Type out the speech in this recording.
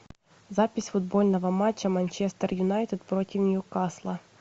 запись футбольного матча манчестер юнайтед против ньюкасла